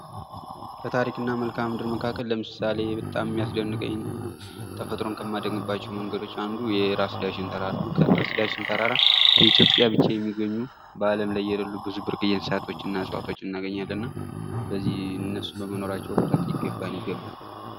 ከታሪክና መልከአ ምድር መካከል ለምሳሌ በጣም የሚያስደንቀኝና ተፈጥሮን ከማደንቅባቸው መንገዶች አንዱ የራስ ዳሽን ተራራ ነው ። ከራስ ዳሸን ተራራ በኢትዮጵያ ብቻ የሚገኙ ፤ በአለም ላይ የለሉ ብዙ ብርቅዬ እንስሳቶችና እፅዋቶችን እናገኛለን እና በዚህ እነሱ በመኖራቸው ኩራት ሊገባን ይገባል ።